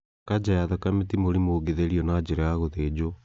Kanja ya thakame ti mũrimũ ũngĩtherio na njĩra ya gũthĩnjwo